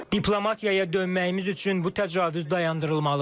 Diplomatiyaya dönməyimiz üçün bu təcavüz dayandırılmalıdır.